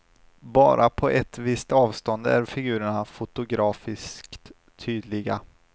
Bara på ett visst avstånd är figurerna fotografiskt tydliga.